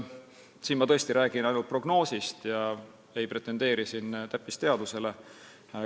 Siin ma räägin tõesti ainult prognoosist ega pretendeeri täppisteadusele.